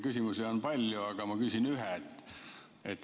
Küsimusi on palju, aga ma küsin ühe.